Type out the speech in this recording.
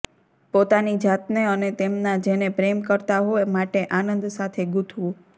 પોતાની જાતને અને તેમના જેને પ્રેમ કરતા હો માટે આનંદ સાથે ગૂંથવું